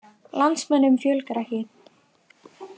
Landsmönnum fjölgar ekki